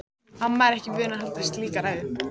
Amma er ekki vön að halda slíka ræðu.